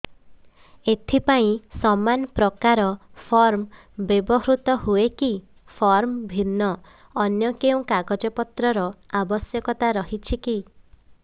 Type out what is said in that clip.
ଏଥିପାଇଁ ସମାନପ୍ରକାର ଫର୍ମ ବ୍ୟବହୃତ ହୂଏକି ଫର୍ମ ଭିନ୍ନ ଅନ୍ୟ କେଉଁ କାଗଜପତ୍ରର ଆବଶ୍ୟକତା ରହିଛିକି